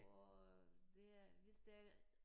Og det er hvis der er